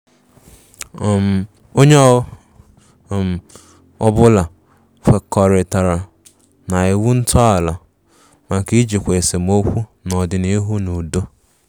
um Onye um ọbụla kwekọritara na iwu ntọala maka ijikwa esemokwu n'ọdịnihu n' udo.